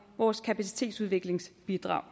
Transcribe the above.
vores kapacitetsopbygningsbidrag